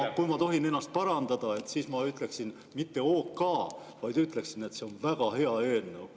Ja kui ma tohin ennast parandada, siis ma ei ütleks mitte OK, vaid ütleksin, et see on väga hea eelnõu.